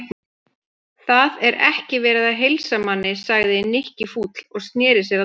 Það er ekki verið að heilsa manni sagði Nikki fúll og snéri sér að Tomma.